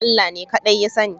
Allah ne kaɗai ya sani